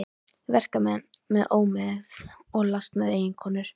Verkamenn með ómegð og lasnar eiginkonur.